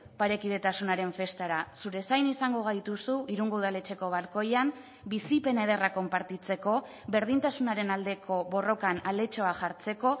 parekidetasunaren festara zure zain izango gaituzu irungo udaletxeko balkoian bizipen ederrak konpartitzeko berdintasunaren aldeko borrokan aletxoa jartzeko